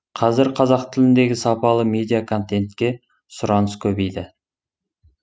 қазір қазақ тіліндегі сапалы медиаконтентке сұраныс көбейді